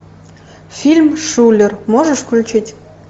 фильм шулер можешь включить